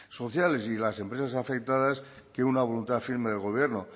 sociales y de las empresas afectadas que una voluntad firme del gobierno